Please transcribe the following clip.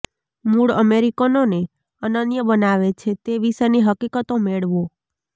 મૂળ અમેરિકનોને અનન્ય બનાવે છે તે વિશેની હકીકતો મેળવો